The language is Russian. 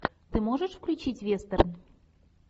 ты можешь включить вестерн